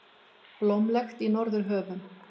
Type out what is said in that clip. Blómlegt í Norðurhöfum